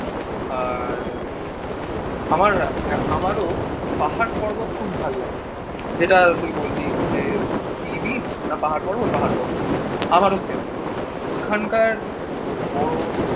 আর আহ আমার আমারও পাহাড় পর্বত খুব ভালো লাগে। যেটা তুই বললি যে, sea beach না পাহাড় পর্বত? পাহাড় পর্বত। আমারও সেম ওখানকার বরফ